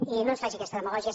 i no ens faci aquesta demagògia